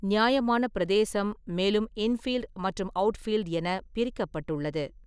நியாயமான பிரதேசம் மேலும் 'இன்ஃபீல்ட்' மற்றும் 'அவுட்ஃபீல்ட்' என பிரிக்கப்பட்டுள்ளது.